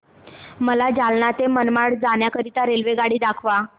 मला जालना ते मनमाड जाण्याकरीता रेल्वेगाडी दाखवा